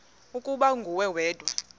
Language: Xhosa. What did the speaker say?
ukuba nguwe wedwa